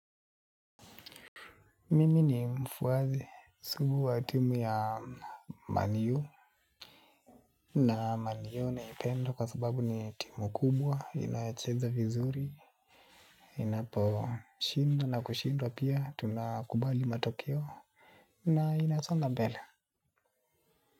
Mimi ni mfwasi, sugu wa timu ya man u. Na man u naipendo kwa sababu ni timu kubwa, inayocheza vizuri. Inapo shinda na kushindwa pia tunakubali matokeo. Na inasonga mbele.